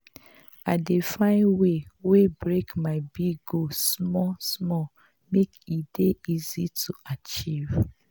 i dey find way way break my big goal small-small make e dey easy to achieve.